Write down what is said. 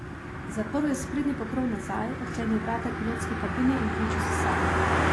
Zaprl je sprednji pokrov nazaj, odklenil vrata pilotske kabine in vključil sesalnik.